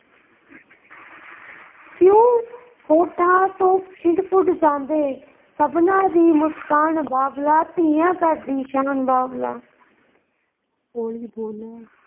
ਹੋਠਾਂ ਤੋਂ ਖਿੜ ਪੁੜ ਜਾਂਦੇ, ਸਭਨਾ ਦੀ ਮੁਸਕਾਨ ਬਾਬਲਾ, ਧੀਆਂ ਘਰ ਦੀ ਸ਼ਾਨ ਬਾਬਲਾ।